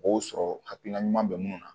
Mɔgɔw sɔrɔ hakilina ɲuman bɛ mun na